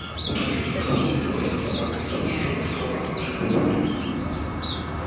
утром я сажусь в седло и с собакой и с ружьём и с рогом уезжаю в поле